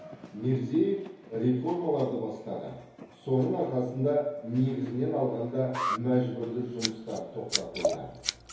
мирзиев реформаларды бастады соның арқасында негізінен алғанда мәжбүрлі жұмыстар тоқтатылды